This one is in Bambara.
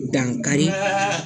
Dankari